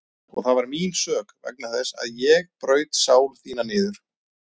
Og það var mín sök vegna þess að ég braut sál þína niður.